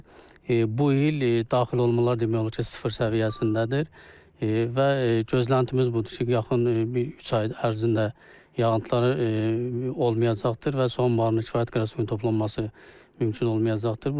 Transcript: Lakin bu il daxil olmalar demək olar ki, sıfır səviyyəsindədir və gözləntimiz budur ki, yaxın bir üç ay ərzində yağıntılar olmayacaqdır və son anbarına kifayət qədər suyun toplanması mümkün olmayacaqdır.